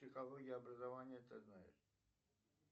психология образования ты знаешь